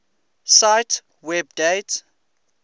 cite web date